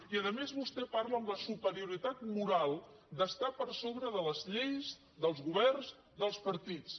i a més vostè parla amb la superioritat moral d’estar per sobre de les lleis dels governs dels partits